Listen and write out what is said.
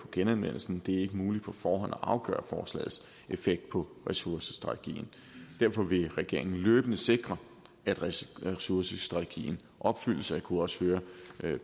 genanvendelse det er ikke muligt på forhånd at afgøre forslagets effekt på ressourcestrategien derfor vil regeringen løbende sikre at ressourcestrategien opfyldes og jeg kunne også høre